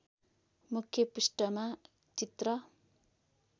मुख्य पृष्ठमा चित्र